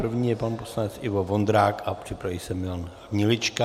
První je pan poslanec Ivo Vondrák a připraví se Milan Hnilička.